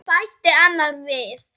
bætti annar við.